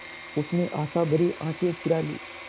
उसने आशाभरी आँखें फिरा लीं